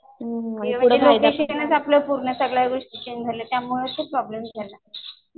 पुढं काहीतरी शिकण्यात पूर्ण आपलं आयुष्य त्यामुळं ते प्रॉब्लम झाला